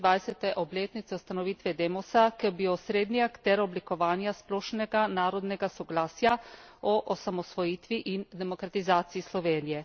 25. obletnice ustanovitve Demosa, ki je bil osrednji akter oblikovanja splošnega narodnega soglasja o osamosvojitvi in demokratizaciji Slovenije.